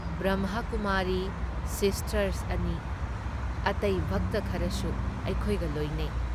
Brahmakumari sisters ꯑꯅꯤ, ꯑꯇꯩ ꯚꯛꯇ ꯈꯔꯁꯨ ꯑꯩꯈꯣꯏꯒ ꯂꯣꯏꯅꯩ ꯫